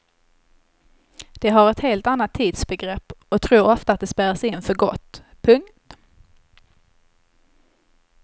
De har ett helt annat tidsbegrepp och tror ofta att de spärras in för gott. punkt